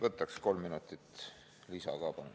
Võtaksin kolm minutit lisaaega, palun!